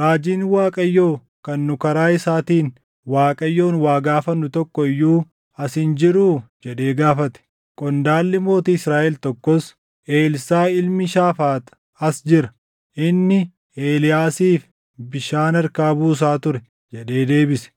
“Raajiin Waaqayyoo kan nu karaa isaatiin Waaqayyoon waa gaafannu tokko iyyuu as hin jiruu?” jedhee gaafate. Qondaalli mootii Israaʼel tokkos, “Elsaaʼi ilmi Shaafaax as jira. Inni Eeliyaasiif bishaan harkaa buusa ture” jedhee deebise.